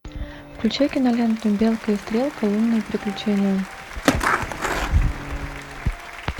включай киноленту белка и стрелка лунные приключения